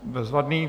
Bezvadně.